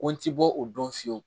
Ko n ti bɔ o don fiyewu